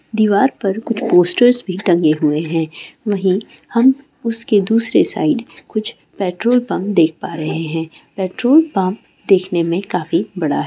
दीवार पर कुछ पोस्टर्स भी लगे हुए है वही हम उसके दूसरे साइड कुछ पेट्रोल पंप देख प रहे है पेट्रोल पंप देखने मे काफी बड़ा है।